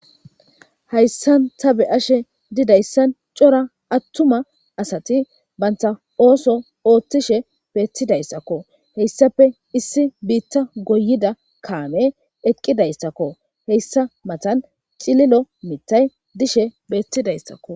Hayssan ta be ashe didayssan cora attuma asati baynta ooso ooththishe beettidayssakko heyssape issi biitta goyida kaame eqqidayssakko heyssa matan cililo mitay dishe beettidayssakko.